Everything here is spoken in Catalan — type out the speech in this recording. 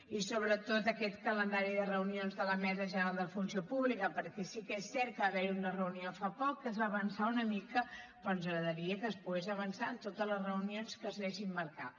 i sobretot aquest calendari de reunions de la mesa general de la funció pública perquè sí que és cert que va haver hi una reunió fa poc en què es va avançar una mica però ens agradaria que es pogués avançar en totes les reunions que s’anessin marcant